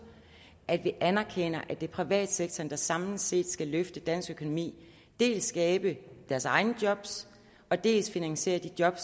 at de anerkender at det er privatsektoren der samlet set skal løfte dansk økonomi dels skabe deres egne job og dels finansiere de job